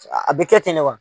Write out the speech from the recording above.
A bɛ kɛ ten ne wa?